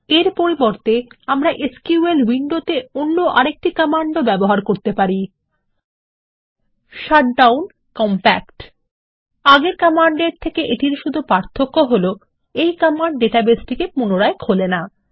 এর পরিবর্তে আমরা এসকিউএল উইন্ডোতে অন্য আরেকটি কমান্ড ব্যবহার করতে পারি160 শাটডাউন কম্প্যাক্ট আগের কমান্ডের থেকে শুধু পার্থক্য হলো এই কমান্ড ডাটাবেস পুনরায় খোলে না